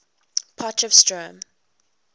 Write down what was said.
potchefstroom